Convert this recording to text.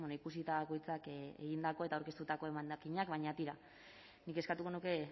ikusita bakoitzak egindako eta aurkeztutako emendakinak baina tira nik eskatuko nuke